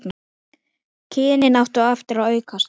Kynnin áttu eftir að aukast.